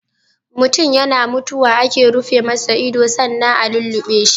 Mutun yana mutuwa ake rufe masa ido sannan a lulluɓe shi.